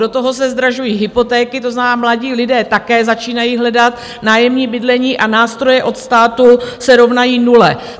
Do toho se zdražují hypotéky, to znamená, mladí lidé také začínají hledat nájemní bydlení a nástroje od státu se rovnají nule.